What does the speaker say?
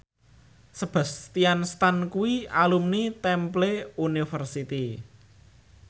Sebastian Stan kuwi alumni Temple University